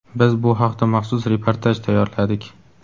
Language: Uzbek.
Biz bu haqda maxsus reportaj tayyorladik.